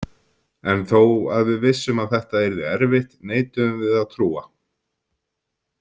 En þó að við vissum að þetta yrði erfitt neituðum við að trúa.